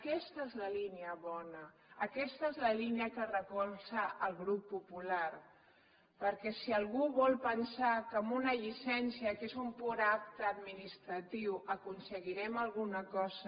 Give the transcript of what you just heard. aquesta és la línia bona aquesta és la línia que recolza el grup popular perquè si algú vol pensar que amb una llicència que és un pur acte administratiu aconseguirem alguna cosa